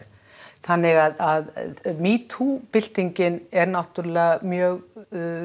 þannig að byltingin er náttúrulega mjög